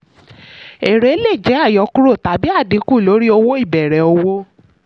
èrè lè jẹ àyọkúrò tàbí àdínkù lórí owó ìbẹ̀rẹ̀ òwò.